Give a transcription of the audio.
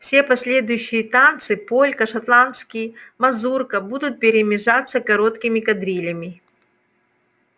все последующие танцы полька шотландский мазурка будут перемежаться короткими кадрилями